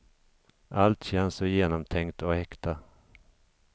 Allt känns så genomtänkt och äkta.